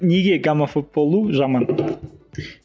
неге гомофоб болу жаман